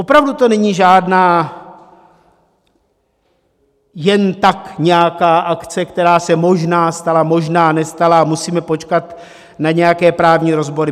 Opravdu to není žádná jen tak nějaká akce, která se možná stala, možná nestala a musíme počkat na nějaké právní rozbory.